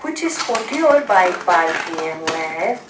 कुछ स्कूटी और bike park किए हुए हैं।